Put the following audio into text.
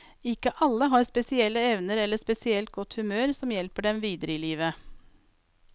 Ikke alle har spesielle evner eller spesielt godt humør som hjelper dem videre i livet.